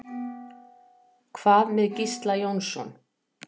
Hvað með Gísla Jónsson?